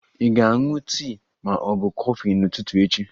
Ị ga-aṅụ tii ma ọ bụ kọfị n'ụtụtụ echi?